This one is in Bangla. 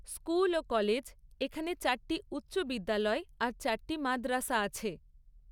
স্কুল ও কলেজ এখানে চারটি উচ্চ বিদ্যালয় আর চারটি মাদ্রাসা আছে।